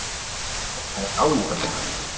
Þetta er álitamál.